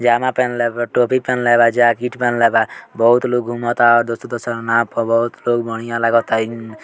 पायजामा पहेनेल बा टोपी पहेनेल बा जैकेट पहेनेल बा बहुत लोग घुमता दूसरा दूसरा नाव पर बहुत लोग बढ़िया लगता इ --